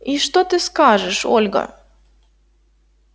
и что ты скажешь ольга